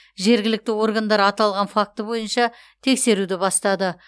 жергілікті органдар аталған факті бойынша тексеруді бастады